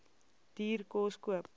duur kos koop